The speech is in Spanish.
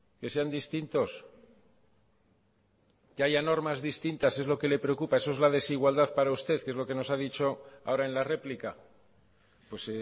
que sean distintos que haya normas distintas eso es lo que le preocupa eso es la desigualdad para usted que es lo que nos ha dicho ahora en la réplica pues